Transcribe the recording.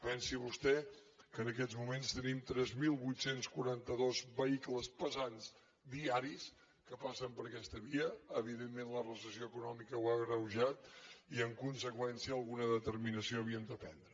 pensi vostè que en aquests moments tenim tres mil vuit cents i quaranta dos vehicles pesants diaris que passen per aquesta via evidentment la recessió econòmica ho ha agreujat i en conseqüència alguna determinació havíem de prendre